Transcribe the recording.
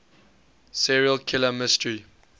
serial killer mystery